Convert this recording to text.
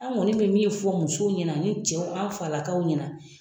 An kɔni bɛ min ye fɔ musow ɲɛna ani cɛw an fa lakaw ɲɛna.